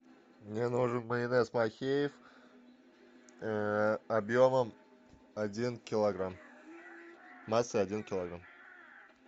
мне нужен майонез махеев объемом один килограмм массой один килограмм